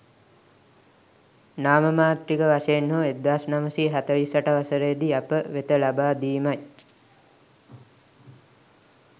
නාමමාත්‍රික වශයෙන් හෝ 1948 වසරේදි අප වෙත ලබා දීමයි.